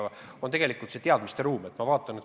Jutt on tegelikult vajalikest teadmistest.